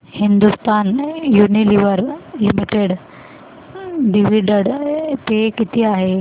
Hindustan Unilever limited dividend pay किती आहे